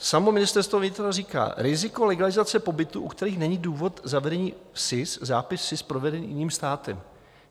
Samo Ministerstvo vnitra říká: "Riziko legalizace pobytu, u kterých není důvod zavedení SIS, zápis SIS proveden jiným státem."